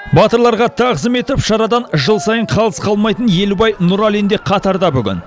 батырларға тағзым етіп шарадан жыл сайын қалыс қалмайтын елубай нұралин де қатарда бүгін